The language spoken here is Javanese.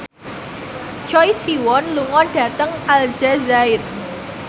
Choi Siwon lunga dhateng Aljazair